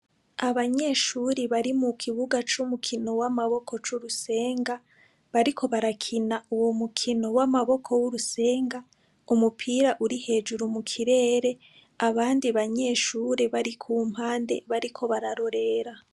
Abanyeshuri bari mu kibuga c'umukino w'amaboko c'urusenga bariko barakina uwo mukino w'amaboko w'urusenga umupira uri hejuru mu kirere abandi banyeshure bari ku mpande bariko bararorera.